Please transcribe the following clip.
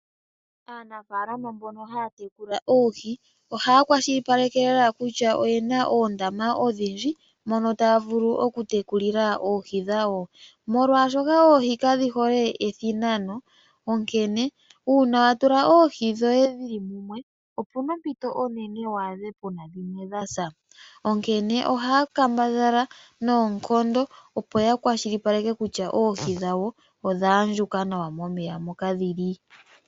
Aanafaalama mbono ha ya tekula oohi oha ya kwashilipaleke lela kutya oye na oondama odhindji mono taya vulu oku tekulile oohi dhawo molwaashoka oohi ka dhihole ethinanano onkene uuna wa tula oohi dhoye dhili mumwe opu na ompito onene wu adhe puna dhimwe dha sa onkene oha yakambadhala noonkondo opo yakwashilipaleke kutya oohi dhawo odha andjuka nawa momeya moka dhi li.